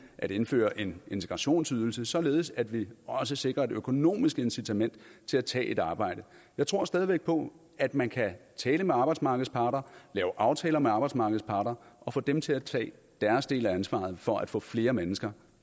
at indføre en integrationsydelse således at vi også sikrer et økonomisk incitament til at tage et arbejde jeg tror stadig væk på at man kan tale med arbejdsmarkedets parter lave aftaler med arbejdsmarkedets parter og få dem til at tage deres del af ansvaret for at få flere mennesker